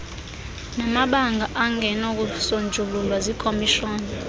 namabango angenakusonjululwa yikhomishoni